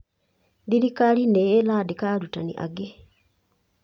Thirikari nĩ ĩraandĩka arutani angĩ.